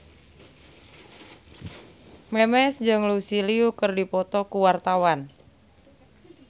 Memes jeung Lucy Liu keur dipoto ku wartawan